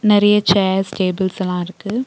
நெறைய chairs tables எல்லா இருக்கு.